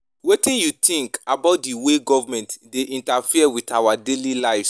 Wetin you think about di way government dey interfere with our daily lives?